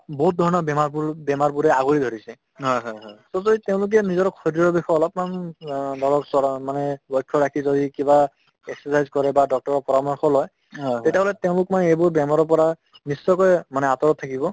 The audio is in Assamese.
বহুত ধৰণৰ বেমাৰবোৰ বেমাৰবোৰে আগুৰি ধৰিছে to তেওঁলোকে নিজৰ শৰীৰৰ বিষয়ে অলপমান অ লৰকচৰক মানে লক্ষ্য ৰাখি যদি কিবা exercise কৰে বা doctor ৰ পৰামৰ্শ লয় তেতিয়াহলে তেওঁলোক মানে এইবোৰ বেমাৰৰ পৰা নিশ্চয়কৈ মানে আঁতৰত থাকিব